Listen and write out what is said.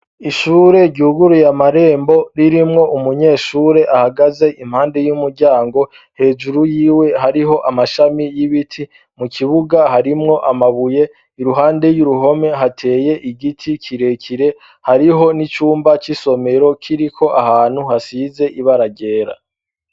Ishure ryuguruye amarembo ririmwo umunyeshure ahagaze impande y'umuryango, hejuru yiwe hariho amashami y'ibiti mu kibuga harimwo amabuye iruhande y'uruhome hateye igiti kirekire hariho n'icumba c'isomero kiriko ahantu hasize ibara ryera.